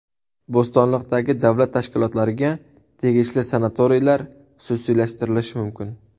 Bo‘stonliqdagi davlat tashkilotlariga tegishli sanatoriylar xususiylashtirilishi mumkin.